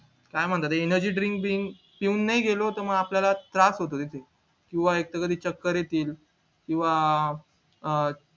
काय म्हणतात ते energy drink brink पिऊन नाही गेलो होतो मग आपल्याला त्रास होतो तिथे किंवा एकदा तरी चक्कर येते अं किंवा